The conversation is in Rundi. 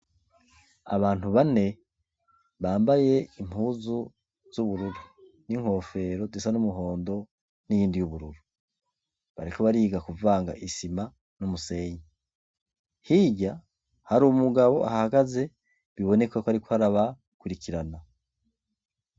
Abantu bane bambay' ibisarubeti bis' ubururu, babiri muribo, barunamye barikuvang' isima n' umusenyi, inyuma yabo har'umugabo yambay' ishati yer' afis' urupapuro rwera muntoke, asankah' ariw' arikubereka ivyo bakora.